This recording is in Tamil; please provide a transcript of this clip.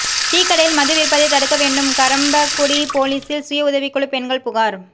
டீக்கடையில் மது விற்பதை தடுக்க வேண்டும் கறம்பக்குடி போலீசில் சுயஉதவிகுழு பெண்கள் புகார்